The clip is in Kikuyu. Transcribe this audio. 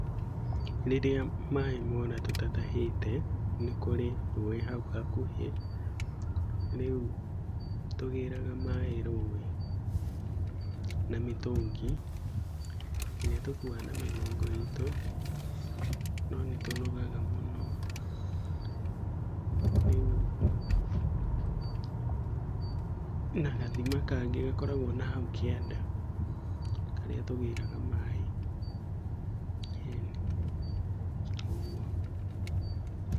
Rĩrĩa maĩ mora mũtatahĩte tũtatahĩte nĩkũrĩ rũĩ hau hakuĩ. Rĩu tũgĩraga maĩ rũĩ na mĩtũngi ĩrĩa tũkuaga na mĩgongo itũ no nĩ tũnogaga mũno na gathima kangĩ gakoragwo nahau kĩanda , harĩa tũgĩraga maĩ. ĩni ũguo.